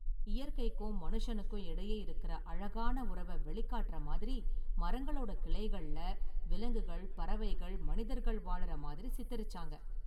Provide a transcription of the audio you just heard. இயற்கைக்கும் மனுசனுக்கும் இடையே இருக்கற​ அழகான உறவை வெளிக்காட்டுற மாதிரி மரங்களோட​ கிளைகள்ல விலங்குகள், பறவைகள், மனிதர்கள் வாழுற மாதிரி சித்தரிச்சாங்க.​